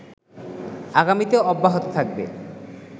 আগামীতেও অব্যাহত থাকবে